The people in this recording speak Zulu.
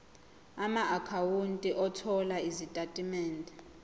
amaakhawunti othola izitatimende